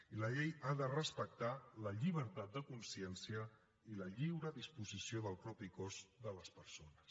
i la llei ha de respectar la llibertat de consciència i la lliure disposició del propi cos de les persones